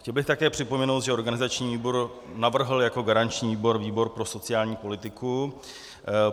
Chtěl bych také připomenout, že organizační výbor navrhl jako garanční výbor výbor pro sociální politiku.